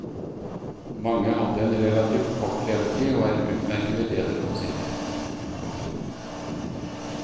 Mange hadde en relativt kort levetid og er utmerkede ledefossiler. punktum